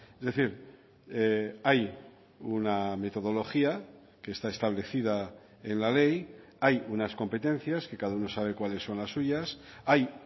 es decir hay una metodología que está establecida en la ley hay unas competencias que cada uno sabe cuáles son las suyas hay